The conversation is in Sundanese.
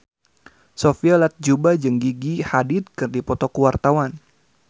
Sophia Latjuba jeung Gigi Hadid keur dipoto ku wartawan